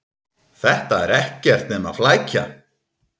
Þetta er ekkert nema flækja.